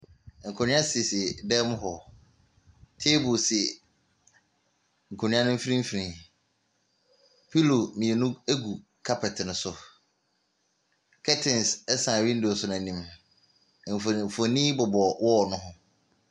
Nkonnwa sisi dan mu hɔ. Table si nkonnwa no mfimfini. Pillow mmienu gu kapɛte no so. Curtains san windows no anim. Mfoni mfonin bobɔ wall no ho.